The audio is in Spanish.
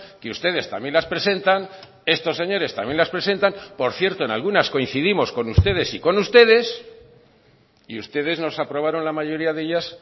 que ustedes también las presentan estos señores también las presentan por cierto en algunas coincidimos con ustedes y con ustedes y ustedes nos aprobaron la mayoría de ellas